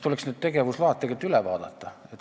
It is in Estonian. Need tegevusload tuleks siis üle vaadata.